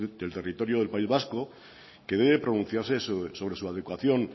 del territorio del país vasco que debe pronunciarse sobre su adecuación